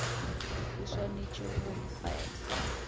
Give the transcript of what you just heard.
o swanetše go be a